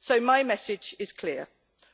So my message is clear